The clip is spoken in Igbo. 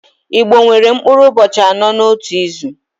Igbo nwere mkpụrụ ụbọchị anọ n'otu izu